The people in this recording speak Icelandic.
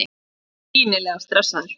Er greinilega stressaður.